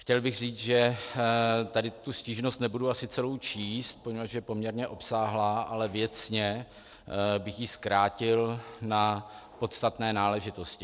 Chtěl bych říct, že tady tu stížnost nebudu asi celou číst, poněvadž je poměrně obsáhlá, ale věcně bych ji zkrátil na podstatné náležitosti.